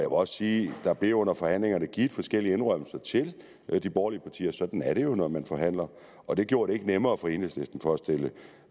også sige at der under forhandlingerne blev givet forskellige indrømmelser til de borgerlige partier sådan er det jo når man forhandler og det gjorde det ikke nemmere for enhedslisten